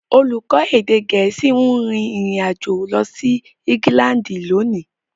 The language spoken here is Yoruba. Olùkọ́ èdè Gẹ̀ẹ́sì ń rin ìrìn àjò lọ sí England lónìí.